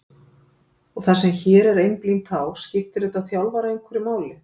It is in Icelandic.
og það sem hér er einblínt á, skiptir þetta þjálfara einhverju máli?